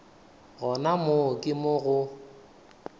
gona moo ke mo go